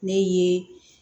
Ne ye